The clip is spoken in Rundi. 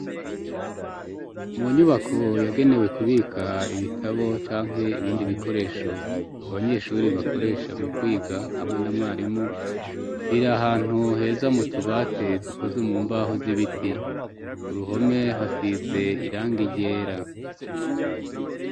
Mu nyubako yagenewe kubika ibitabo canke ibindi bikoresho abanyeshuri bakoresha mu kwiga hamwe na mwarimu, biri ahantu heza m'utubati dukozwe mu mbaho z'ibiti, ku ruhome hasize irangi ryera.